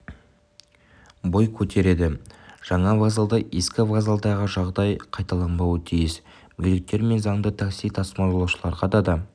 бой көтереді жаңа вокзалда ескі вокзалдағы жағдай қайталанбауы тиіс мүгедектер мен заңды такси тасымалдаушыларға да